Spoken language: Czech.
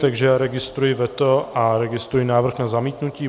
Takže já registruji veto a registruji návrh na zamítnutí.